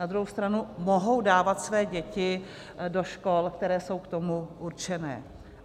Na druhou stranu mohou dávat své děti do škol, které jsou k tomu určené.